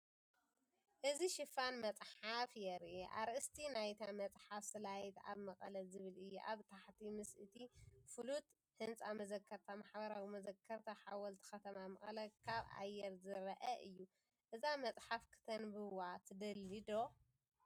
እዚ ሽፋን መጽሓፍ የርኢ። ኣርእስቲ ናይታ መጽሓፍ “ሳላይት ኣብ መቐለ” ዝብል እዩ። ኣብ ታሕቲ ምስ እቲ ፍሉጥ ህንፃ መዘከርታ ማሕበራዊ መዘከርታ ሓወልቲ ከተማ መቐለ ካብ ኣየር ዝርአ እዩ። እዛ መጽሓፍ ክተንብዋ ትደሊ ዶ ?